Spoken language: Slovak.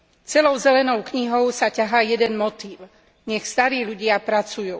Celou Zelenou knihou sa ťahá jeden motív nech starí ľudia pracujú.